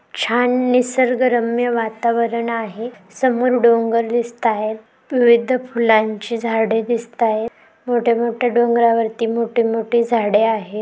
छान निसर्गरम्य वातावरण आहे समोर डोंगर दिसतायत. विविध फुलांचे झाडे दिसतायत मोठेमोठे डोंगरावरती मोठेमोठे झाडे आहेत.